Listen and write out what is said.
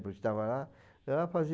estava lá